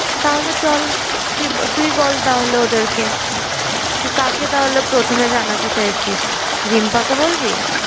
তাহলে চল। তুই বল তাহলে ওদেরকে। তুই কাকে তাহলে প্রথমে জানাতে চাইছিস? রিম্পা কে বলবি?